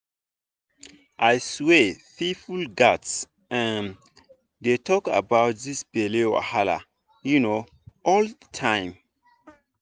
i swear people gats um dey talk about this belle wahala um all the time